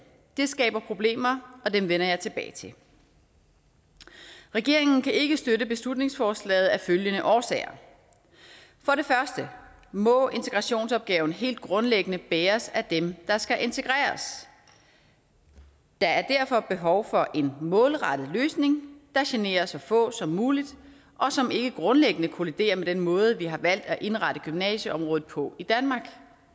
det skaber problemer og dem vender jeg tilbage til regeringen kan ikke støtte beslutningsforslaget af følgende årsager for det første må integrationsopgaven helt grundlæggende bæres af dem der skal integreres der er derfor behov for en målrettet løsning der generer så få som muligt og som ikke grundlæggende kolliderer med den måde vi har valgt at indrette gymnasieområdet på i danmark